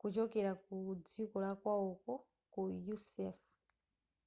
kuchokera kudziko lakwawoko ku usaf